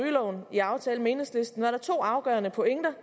rygeloven i aftalen med enhedslisten var der to afgørende pointer